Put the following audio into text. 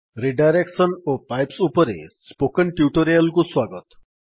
redirection ଓ pipes ଉପରେ spoken tutorial କୁ ସ୍ୱାଗତ